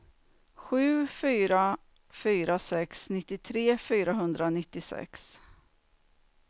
sju fyra fyra sex nittiotre fyrahundranittiosex